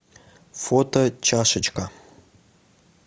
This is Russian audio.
фото чашечка